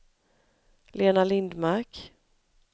Lena Lindmark